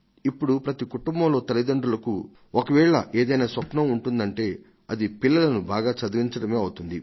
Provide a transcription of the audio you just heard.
ఇప్పుడు ప్రతి కుటుంబంలో తల్లితండ్రులకు ఒకవేళ ఏదైనా స్వప్నం ఉంటుందంటే అది పిల్లలను బాగా చదివించడమే అవుతుంది